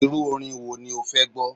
Irú orin wo ni o fẹ́ gbọ́?